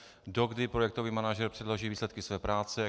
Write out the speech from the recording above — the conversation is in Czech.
Dokdy projektový manažer předloží výsledky své práce?